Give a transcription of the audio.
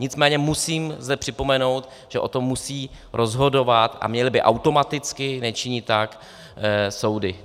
Nicméně musím zde připomenout, že o tom musí rozhodovat - a měly by automaticky, nečiní tak - soudy.